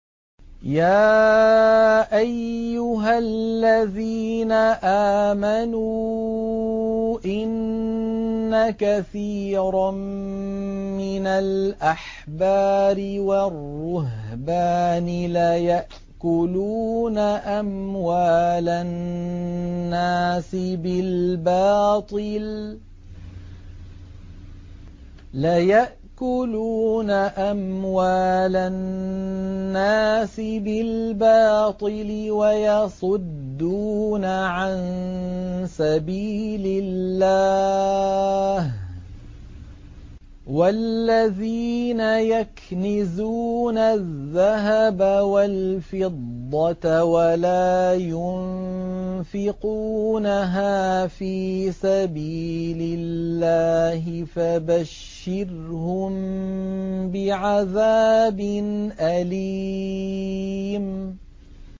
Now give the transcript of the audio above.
۞ يَا أَيُّهَا الَّذِينَ آمَنُوا إِنَّ كَثِيرًا مِّنَ الْأَحْبَارِ وَالرُّهْبَانِ لَيَأْكُلُونَ أَمْوَالَ النَّاسِ بِالْبَاطِلِ وَيَصُدُّونَ عَن سَبِيلِ اللَّهِ ۗ وَالَّذِينَ يَكْنِزُونَ الذَّهَبَ وَالْفِضَّةَ وَلَا يُنفِقُونَهَا فِي سَبِيلِ اللَّهِ فَبَشِّرْهُم بِعَذَابٍ أَلِيمٍ